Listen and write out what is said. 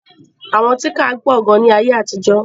Àwọn tíńkà pọ̀ gan ní ayé àtijọ́.